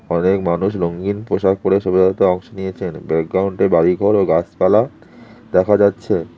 অনেক মানুষ রঙিন পোশাক পরে শোভাযাত্রা অংশ নিয়েছেন ব্যাকগ্রাউন্ডে বাড়িঘর ও গাছপালা দেখা যাচ্ছে।